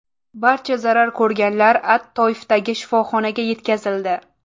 Barcha zarar ko‘rganlar at-Toifdagi shifoxonaga yetkazildi.